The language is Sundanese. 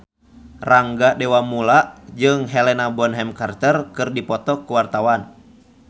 Rangga Dewamoela jeung Helena Bonham Carter keur dipoto ku wartawan